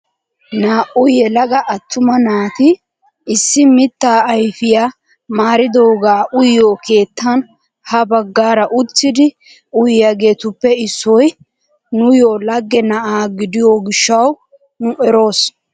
Naa"u yelaga attuma naatin issi mittaa ayfiyaa maaridoogaa uyiyoo keettan ha baggaara uttidi uyiyaagetuppe issoy nuuyoo lagge na'aa gidiyoo gishshawu nu eroos!